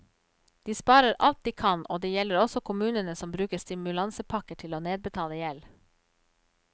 De sparer alt de kan, og det gjelder også kommunene som bruker stimulansepakker til å nedbetale gjeld.